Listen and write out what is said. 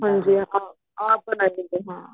ਹਾਂਜੀ ਹਾਂ ਆਪ ਬਣਾਇਆ ਹੁੰਦਾ ਹਾਂ